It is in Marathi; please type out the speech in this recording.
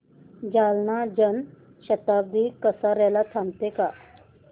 जालना जन शताब्दी कसार्याला थांबते का